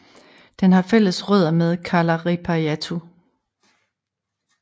Den har fælles rødder med Kalarippayattu